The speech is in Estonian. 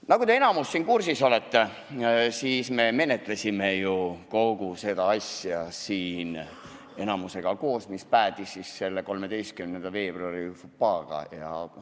Nagu te enamikus siin kursis olete, siis me menetlesime ju kogu seda asja siin koos, mis päädis selle 13. veebruari fopaaga.